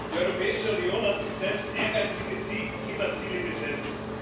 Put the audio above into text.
Die Europäische Union hat sich selbst ehrgeizige Klimaziele gesetzt.